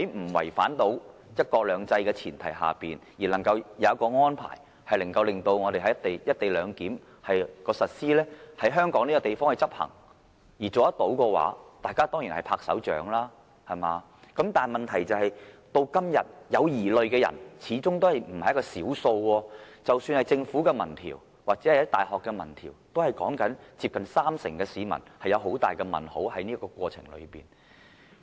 不違反"一國兩制"的前提下而能夠有所安排，令"一地兩檢"可在香港實施、執行，可達成這樣的話，大家一定鼓掌，但問題是，至今仍有疑慮的人始終為數不少，即使是政府的民調或大學的民調也顯示，接近三成市民對這課題持有很大疑問。